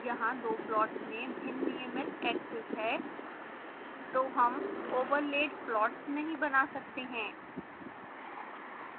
यहाँ दो प्लॉट्स में भिन्न नियमित axes है तो हम overlaid plots नहीं बना सकते हैं